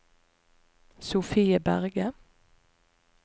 Sofie Berge